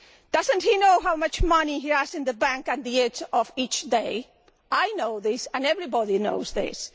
Does he not know how much money he has in the bank at the end of each day? I know this and everybody knows this.